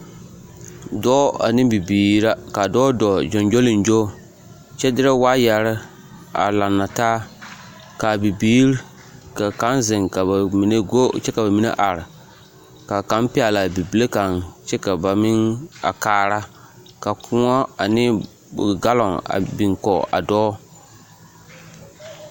Dɔɔ ane Bibiiri la ka a dɔɔ dooɔ gyogyoleŋgyo kyɛ dere waayɛre a laŋna taa kaa Bibiiri ka kang ziŋ kyɛ ka ba mine gɔ kyɛ ka ba mine are ka kang pɛŋle a bibile kaŋ kyɛ ka ba meŋ a kaara ka koɔ ane gaalɔŋ biŋ kɔge a dɔɔ.